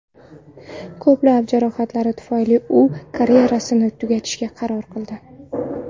Ko‘plab jarohatlari tufayli u karyerasini tugatishga qaror qildi.